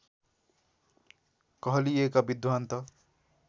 कहलिएका विद्वान् त